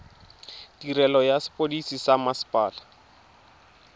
tirelo ya sepodisi sa mmasepala